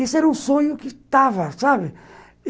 Esse era o sonho que estava, sabe?